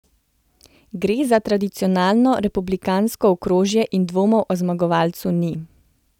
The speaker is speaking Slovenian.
Gre za tradicionalno republikansko okrožje in dvomov o zmagovalcu ni.